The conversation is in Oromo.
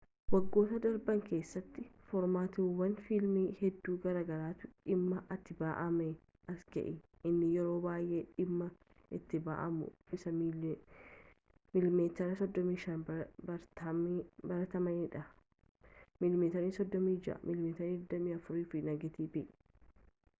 waggoottan darban keessatti foormaatiiwwan fiilmii hedduu garaa garaatu dhimma itti ba’amaa as ga’e. inni yeroo baay’ee dhimma itti ba’amu isa miiliimeetirii 35 baratamaadha mm 36 mm 24n negatiiva